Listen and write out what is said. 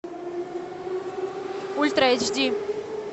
ультра эйч ди